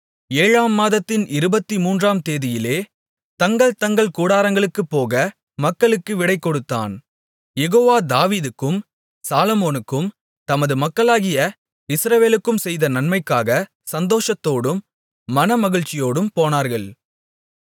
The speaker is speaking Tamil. ஏழாம் மாதத்தின் இருபத்துமூன்றாம் தேதியிலே தங்கள் தங்கள் கூடாரங்களுக்குப் போக மக்களுக்கு விடை கொடுத்தான் யெகோவா தாவீதுக்கும் சாலொமோனுக்கும் தமது மக்களாகிய இஸ்ரவேலுக்கும் செய்த நன்மைக்காகச் சந்தோஷத்தோடும் மனமகிழ்ச்சியோடும் போனார்கள்